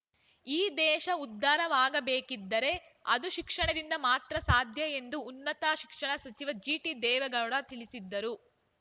ಈ ದೇಶ ಉದ್ಧಾರವಾಗಬೇಕಿದ್ದರೆ ಅದು ಶಿಕ್ಷಣದಿಂದ ಮಾತ್ರ ಸಾಧ್ಯ ಎಂದು ಉನ್ನತ ಶಿಕ್ಷಣ ಸಚಿವ ಜಿಟಿ ದೇವೇಗೌಡ ತಿಳಿಸಿದರು